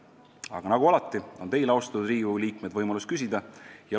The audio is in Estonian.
Aga nagu alati on teil, austatud Riigikogu liikmed, võimalus küsida.